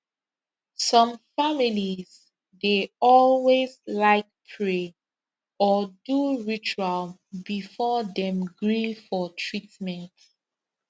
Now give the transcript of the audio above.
some families dey always like pray or do ritual before dem gree for treatment